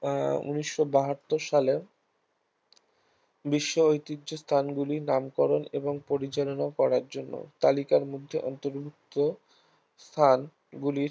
আহ ঊনিশ বাহাত্তর সালে বিশ্ব ঐতিহ্য স্থান গুলির নামকরণ এবংপরিচালনা করার জন্য তালিকার মধ্যে অন্তর্ভুক্ত স্থান গুলির